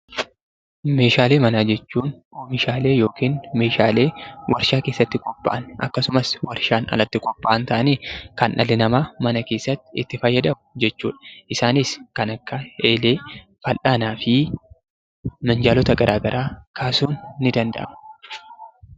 Meeshaalee manaa jechuun oomishaalee yookiin meeshaalee warshaa keessatti qophaa'an akkasumas warshaan alatti qophaa'an ta'anii, kan dhalli namaa mana keessatti itti fayyadamu jechuu dha. Isaanis kan akka eelee, fal'aanaa fi minjaalota garaagaraa kaasuun ni danda'ama.